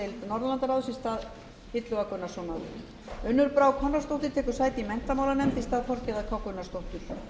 norðurlandaráðs í stað illuga gunnarssonar unnur brá konráðsdóttir tekur sæti í menntamálanefnd í stað þorgerðar k gunnarsdóttur